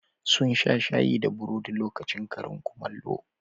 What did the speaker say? Sun sha shayi da burodi lokacin karin kumallo.